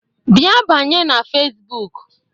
Bịa banye na Fesbụụk!